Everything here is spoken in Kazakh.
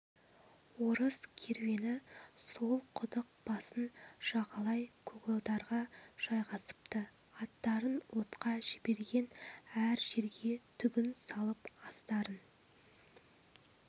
орыс керуені сол құдық басын жағалай көгалдарға жайғасыпты аттарын отқа жіберген әр жерге түгін салып астарын